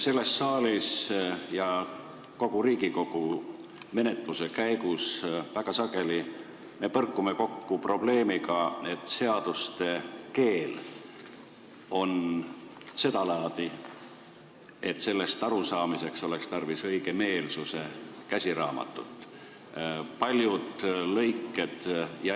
Selles saalis ja kogu Riigikogu menetluse käigus me väga sageli põrkame kokku probleemiga, et seaduste keel on sedalaadi, et tekstist arusaamiseks oleks tarvis õigemeelsuse käsiraamatut.